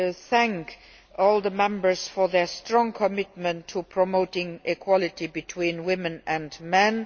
to thank all the Members for their strong commitment to promoting equality between women and men.